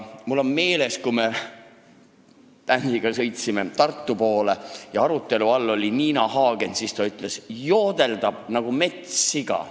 Mul on meeles, et kui me sõitsime kord Hardiga koos Tartu poole ja arutelu all oli Nina Hagen, siis ta ütles: "Joodeldab nagu metssiga.